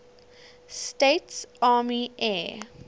states army air